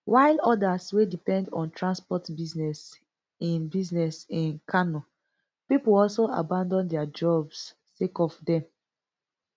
while odas wey depend on transport business in business in kano pipo also abandon dia jobs sake of dem